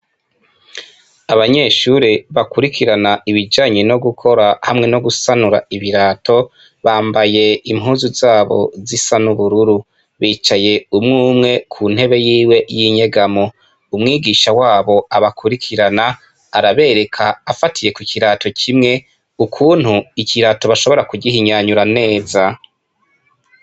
Abanyeshure bakurikina ibijanye no gukora hamwe no gusanura ibirato bambaye impuzu zabo zisa n'ubururu; bicaye umwumwe kuntebe yiwe yinyegamo. Umwigisha wabo abakurikirana arabereka afatiye kukirato kimwe ukuntu ikirato bashobora kugihonyanyura neza.